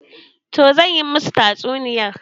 Toh zan yi musu tatsuniyar.